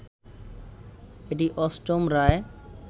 এটি অষ্টম রায়